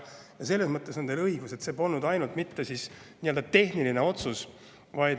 Selles mõttes on teil õigus, et see polnud ainult nii-öelda tehniline otsus.